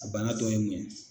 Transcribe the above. A bana tɔ ye mun ye?